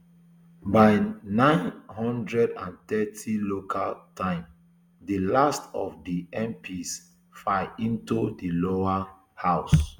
by nine hundred and thirty local time di last of di mps file into di lower house